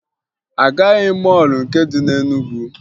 Agaghị m mọọlụ nke dị na Enugwu